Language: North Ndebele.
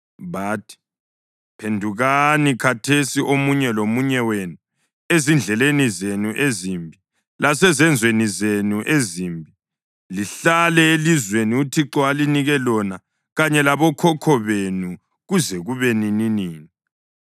Bathi, “Phendukani khathesi, omunye lomunye wenu, ezindleleni zenu ezimbi lasezenzweni zenu ezimbi, lihlale elizweni uThixo alinika lona kanye labokhokho benu kuze kube nininini.